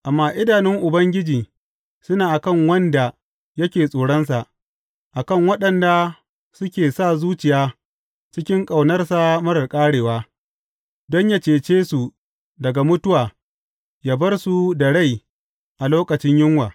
Amma idanun Ubangiji suna a kan wanda yake tsoronsa, a kan waɗanda suke sa zuciya cikin ƙaunarsa marar ƙarewa, don yă cece su daga mutuwa ya bar su da rai a lokacin yunwa.